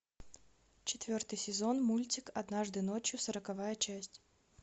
четвертый сезон мультик однажды ночью сороковая часть